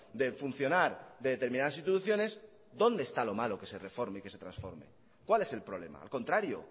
de funcionar de determinadas instituciones dónde está lo malo que se reforme y que se transforme cuál es el problema al contrario